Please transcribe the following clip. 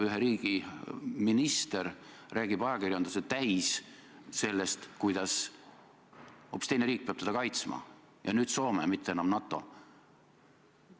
Ühe riigi minister läheb ja räägib ajakirjanduse täis seda, kuidas hoopis teine riik peab teda kaitsma – ja nüüd Soome, mitte enam NATO.